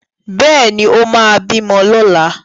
Bẹ́ẹ̀ ni, ó máa bímọ lọ́la.